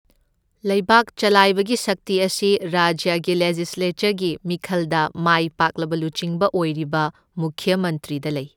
ꯂꯩꯕꯥꯛ ꯆꯂꯥꯏꯕꯒꯤ ꯁꯛꯇꯤ ꯑꯁꯤ ꯔꯥꯖ꯭ꯌꯒꯤ ꯂꯦꯖꯤꯁ꯭ꯂꯦꯆꯔꯒꯤ ꯃꯤꯈꯜꯗ ꯃꯥꯏ ꯄꯥꯛꯂꯕ ꯂꯨꯆꯤꯡꯕ ꯑꯣꯏꯔꯤꯕ ꯃꯨꯈ꯭ꯌ ꯃꯟꯇ꯭ꯔꯤꯗ ꯂꯩ꯫